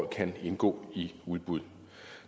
kan indgå i udbud